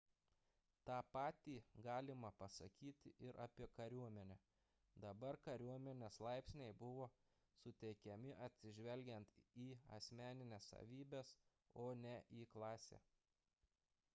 tą patį galima pasakyti ir apie kariuomenę – dabar kariuomenės laipsniai buvo suteikiami atsižvelgiant į asmenines savybes o ne į klasę